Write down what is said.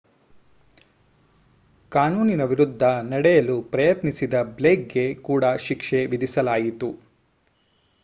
ಕಾನೂನಿನ ವಿರುದ್ಧ ನಡೆಯಲು ಪ್ರಯತ್ನಿಸಿದ ಬ್ಲೇಕ್‌ಗೆ ಕೂಡ ಶಿಕ್ಷೆ ವಿಧಿಸಲಾಯಿತು